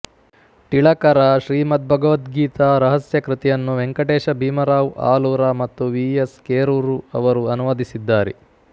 ಟಿಳಕರ ಶ್ರೀಮದ್ಭಗವದ್ಗೀತಾ ರಹಸ್ಯ ಕೃತಿಯನ್ನು ವೆಂಕಟೇಶ ಬೀಮರಾವ್ ಆಲೂರ ಮತ್ತು ವಿ ಎಸ್ ಕೆರೂರು ಅವರು ಅನುವಾದಿಸಿದ್ದಾರೆ